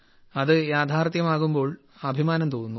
അത് യാഥാർത്ഥ്യമാകുമ്പോൾ അഭിമാനം തോന്നുന്നു